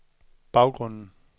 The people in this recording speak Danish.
baggrunden